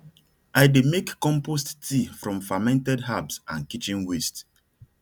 i dey make compost tea from fermented herbs and kitchen waste